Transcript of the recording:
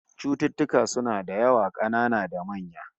Cututtuka suna da yawa, kanana da manya